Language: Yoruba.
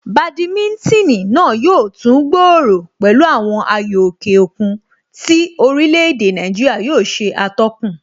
Badminton náà yóò tún gbòòrò pẹ̀lú àwọn ayò òkè òkun tí orílè èdè Nàìjíríà yóò ṣe atọ́kùn